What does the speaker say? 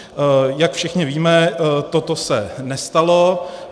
Jak všichni víme, toto se nestalo.